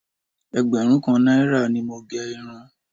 Ẹgbẹ̀rún kan náírà ni mo gẹ irun